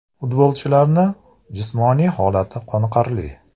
Futbolchilarni jismoniy holati qoniqarli.